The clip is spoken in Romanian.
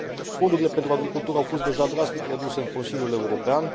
Fondurile pentru agricultură au fost deja drastic reduse în Consiliul European.